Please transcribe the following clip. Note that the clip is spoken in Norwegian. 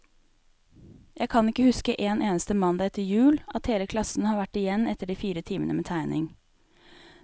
Jeg kan ikke huske en eneste mandag etter jul, at hele klassen har vært igjen etter de fire timene med tegning.